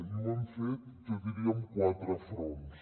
i ho hem fet jo diria amb quatre fronts